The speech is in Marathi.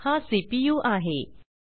हा सीपीयू सीपीयू आहे